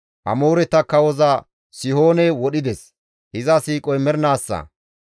Amooreta kawoza Sihoone wodhides; iza siiqoy mernaassa.